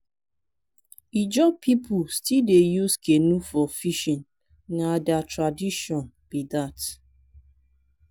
ijaw pipo still dey use canoe for fishing na their tradition be dat.